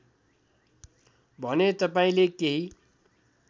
भने तपाईँले केही